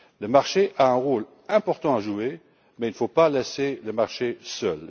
Le marché a un rôle important à jouer, mais il ne faut pas laisser le marché agir seul.